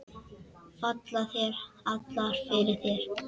Falla þær allar fyrir þér?